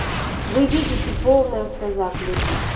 вы видите полный автозак